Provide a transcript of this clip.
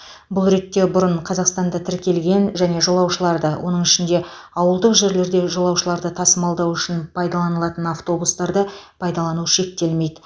бұл ретте бұрын қазақстанда тіркелген және жолаушыларды оның ішінде ауылдық жерлерде жолаушыларды тасымалдау үшін пайдаланылатын автобустарды пайдалану шектелмейді